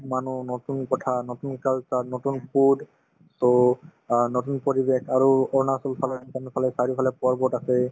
মানুহ নতুন কথা নতুন নতুন culture অ নতুন food so অ নতুন পৰিৱেশ আৰু অৰুণাচলফালে ভূটানৰফালে চাৰিওফালে পৰ্বত আছে